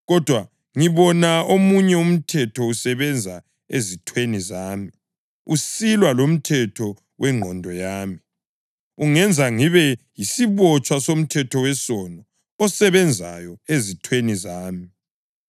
kodwa ngibona omunye umthetho usebenza ezithweni zami, usilwa lomthetho wengqondo yami ungenza ngibe yisibotshwa somthetho wesono osebenzayo ezithweni zami.